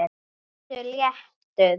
Vertu léttur.